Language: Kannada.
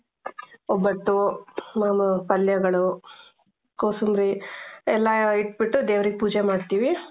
ಒಬ್ಬಟ್ಟು ಆಮೇಲೆ ಪಲ್ಯಗಳು ಕೋಸಂಬರಿ ಎಲ್ಲಾ ಇಟ್ಬಿಟ್ಟು ದೇವರಿಗೆ ಪೂಜೆ ಮಾಡ್ತೀವಿ.